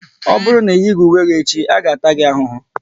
Ọ bụrụ na ị yighi uwe gị echi, a ga-taa gi ahụhụ!